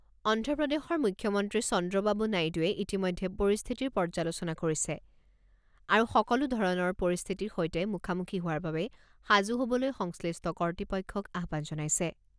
অন্ধ্ৰপ্ৰদেশৰ মুখ্যমন্ত্ৰী চন্দ্ৰবাবু নাইডুৱে ইতিমধ্যে পৰিস্থিতিৰ পৰ্যালোচনা কৰিছে আৰু সকলো ধৰণৰ পৰিস্থিতিৰ সৈতে মুখামুখি হোৱাৰ বাবে সাজু হ'বলৈ সংশ্লিষ্ট কৰ্তৃপক্ষক আহ্বান জনাইছে।